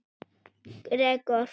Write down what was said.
Gregor